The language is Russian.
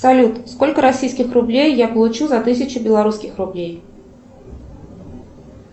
салют сколько российских рублей я получу за тысячу белорусских рублей